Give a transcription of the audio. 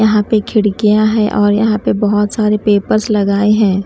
यहाँ पे खिड़कियाँ है और यहाँ पे बहुत सारे पेपर्स लगाए हैं ।